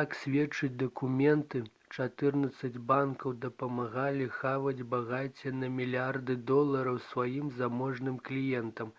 як сведчаць дакументы чатырнаццаць банкаў дапамагалі хаваць багацце на мільярды долараў сваім заможным кліентам